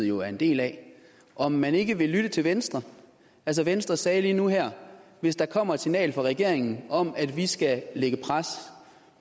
jo er en del af om man ikke vil lytte til venstre venstre sagde lige nu her hvis der kommer et signal fra regeringen om at vi skal lægge pres